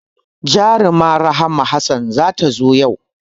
Jaruma Rahma Hassan za ta zo yau